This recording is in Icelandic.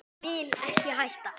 Vil ekki hætta.